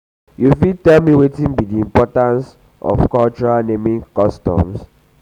you fit tell me wetin be di importance importance um of um cultural naming customs?